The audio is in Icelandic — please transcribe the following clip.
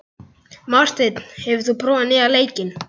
Marteinn, hefur þú prófað nýja leikinn?